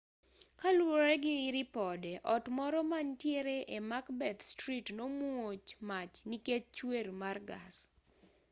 kaluwore gi ripode ot moro manitiere e macbeth street nomuoch mach nikech chuer mar gas